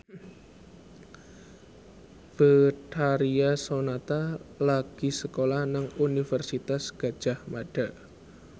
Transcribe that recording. Betharia Sonata lagi sekolah nang Universitas Gadjah Mada